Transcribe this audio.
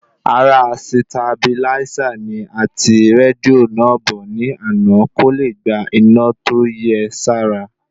Ara sitabiláísà ni a ti rédíò náà bọ̀ ní àná kóle gba iná tó yẹ sára